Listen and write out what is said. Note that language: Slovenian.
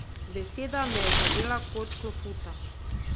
Beseda me je zadela kot klofuta.